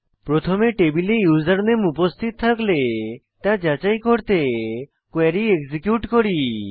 প্রথমে টেবিলে ইউসারনেম উপস্থিত থাকলে তা যাচাই করতে কোয়েরী এক্সিকিউট করি